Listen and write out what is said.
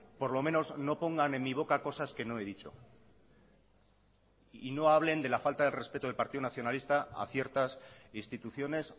por lo menos no pongan en mi boca cosas que no he dicho y no hablen de la falta de respeto del partido nacionalista a ciertas instituciones